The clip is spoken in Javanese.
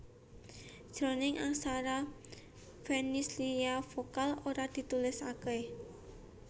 Jroning aksara Fenisia vokal ora ditulisaké